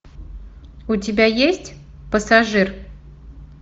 у тебя есть пассажир